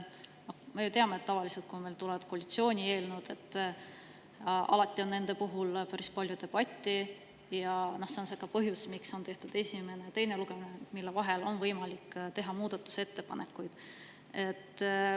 Me teame ju, et tavaliselt, kui tulevad koalitsiooni eelnõud, on nende puhul päris palju, ja see on ka põhjus, miks on tehtud esimene ja teine lugemine, et nende vahel oleks võimalik teha muudatusettepanekuid.